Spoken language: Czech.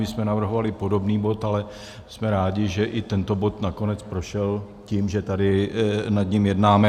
My jsme navrhovali podobný bod, ale jsme rádi, že i tento bod nakonec prošel, tím, že tady nad ním jednáme.